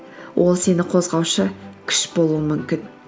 ол сені қозғаушы күш болуы мүмкін